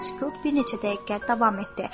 Sükut bir neçə dəqiqə davam etdi.